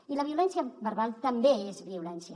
i la violència verbal també és violència